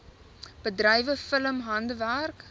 bedrywe film handwerk